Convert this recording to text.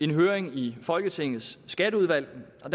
høring i folketingets skatteudvalg og